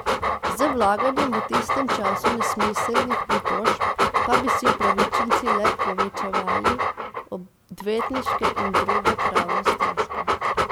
Z vlaganjem v tistem času nesmiselnih pritožb pa bi si upravičenci le povečevali odvetniške in druge pravne stroške.